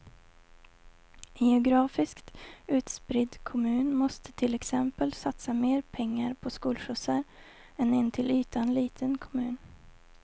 En geografiskt utspridd kommun måste till exempel satsa mer pengar på skolskjutsar än en till ytan liten kommun.